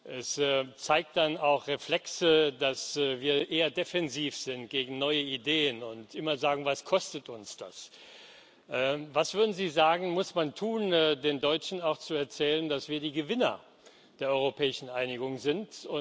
Es zeigt dann auch Reflexe, dass wir eher defensiv gegen neue Ideen sind und immer sagen Was kostet uns das? Was, würden Sie sagen, muss man tun, um den Deutschen auch zu erzählen, dass wir die Gewinner der europäischen Einigung sind?